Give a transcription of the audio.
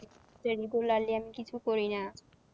সে regularly আমি কিছু করি না।